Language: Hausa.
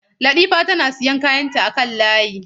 Latifa tana siyan kayanta akan layi.